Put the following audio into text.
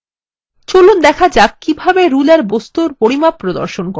চলুন দেখা যাক কিভাবে ruler বস্তুর পরিমাপ প্রদর্শন করে